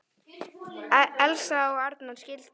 Elsa og Arnar skildu.